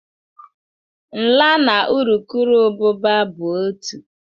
Nla na urukurubụba bụ otu.